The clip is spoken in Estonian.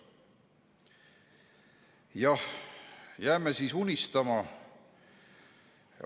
Jah, jääme siis unistama.